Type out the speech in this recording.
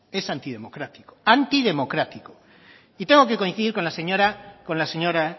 es antidemocrático antidemocrático y tengo que coincidir con la señora